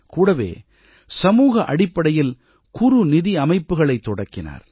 கூடவே சமூக அடிப்படையில் குறுநிதியமைப்புக்களைத் தொடக்கினார்